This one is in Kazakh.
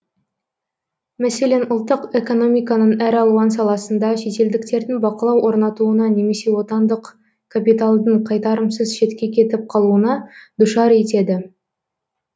мәселен ұлттық экономиканың әр алуан саласында шетелдіктердің бақылау орнатуына немесе отандық капиталдың қайтарымсыз шетке кетіп қалуына душар етеді